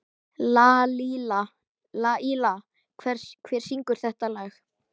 Lalíla, hver syngur þetta lag?